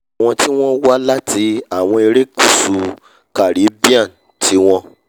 àwọn tí wọ́n wá láti àwọn erékùṣù caribbean tí wọ́n